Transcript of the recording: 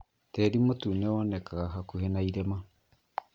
Tĩri mutune wonekaga hakuhi na irima